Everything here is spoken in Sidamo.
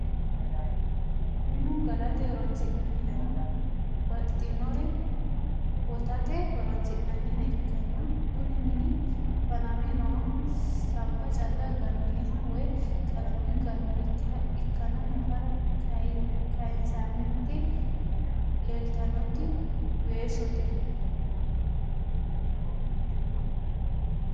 minu galate horronisinaniha babxinore wotate horonisinaniha ikana kuni mini faname nohana sabba calla ganoniha woy qallame ganonikiha ikana nafare kayisanite lelitanoti weshshote.